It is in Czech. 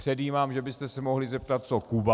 Předjímám, že byste se mohli zeptat co Kuba.